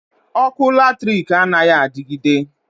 Ọkụ latrik anaghị adigide.